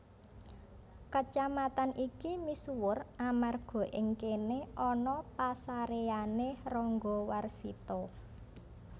Kacamatan iki misuwur amarga ing kéné ana pasaréyané Ranggawarsita